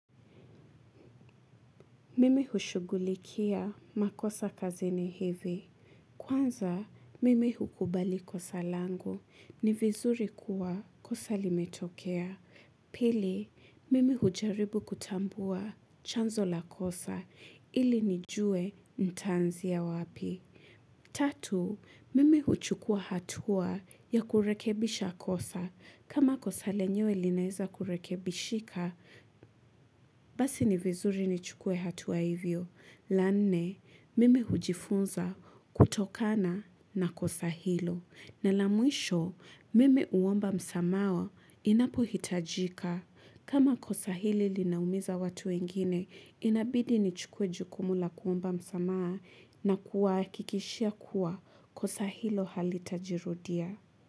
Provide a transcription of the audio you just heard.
Mimi hushughulikia makosa kazi ni hivi. Kwanza, mimi hukubali kosa langu ni vizuri kuwa kosa limetokea. Pili, mimi hujaribu kutambua chanzo la kosa ili nijue nitaanziya wapi. Tatu, mimi huchukua hatua ya kurekebisha kosa. Kama kosa lenyewe linaweza kurekebishika, basi ni vizuri nichukue hatua hivyo. Lanne, mimi hujifunza kutokana na kosa hilo. Na lamwisho, mimi huomba msamaha inapo hitajika. Kama kosa hili linaumiza watu wengine, inabidi nichukuwe jukumu la kuomba msamaha na kuwahakikishia kuwa kosa hilo halitajirudia.